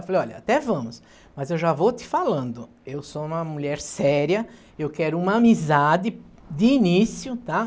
Eu falei, olha, até vamos, mas eu já vou te falando, eu sou uma mulher séria, eu quero uma amizade de início, tá?